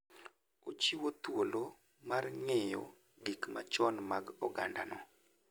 Ochiwo thuolo mar ng'eyo gik machon mag ogandano.